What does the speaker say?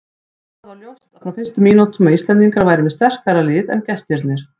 Það var ljóst frá fyrstu mínútum að Íslendingar væru með sterkara lið en gestirnir.